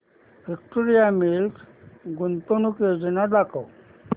Victoria Mills गुंतवणूक योजना दाखव